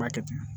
B'a kɛ ten